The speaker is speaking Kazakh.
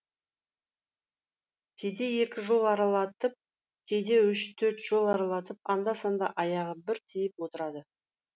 кейде екі жол аралатып кейде үш төрт жол аралатып анда санда аяғы бір тиіп отырады